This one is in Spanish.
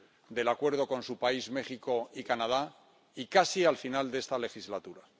del acuerdo con su país, México y Canadá, y casi al final de esta legislatura.